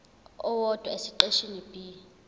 owodwa esiqeshini b